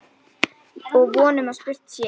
Og von að spurt sé.